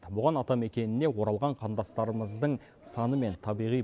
бұған атамекеніне оралған қандастарымыздың саны мен табиғи